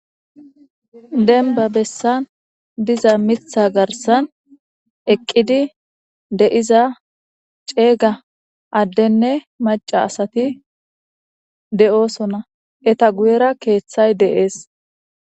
Deniba besan diza mitha garisan eqidi deiza cega adenee maca asati de'osona etape guyera kethay de'es